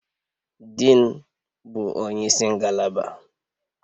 Diin, bụ onye isi ngalaba